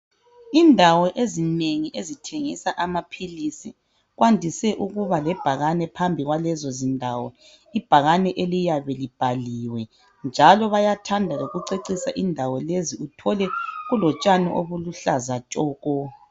Indawo ezinengi ezithengisa amaphilisi zandise ukuba lebhakane phambi kwalezo zindawo ibhakane eliyabe libhaliwe njalo bayathanda lokucecisa indawo lezi uthole kulotshani obuluhlaza tshoko.